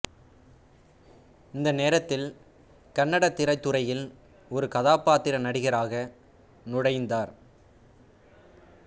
இந்த நேரத்தில் கன்னடத் திரைத்துறையில் ஒரு கதாபாத்திர நடிகராக நுழைந்தார்